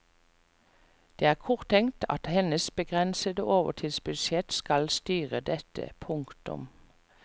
Det er korttenkt at hennes begrensede overtidsbudsjett skal styre dette. punktum